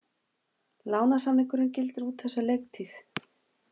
Lánssamningurinn gildir út þessa leiktíð.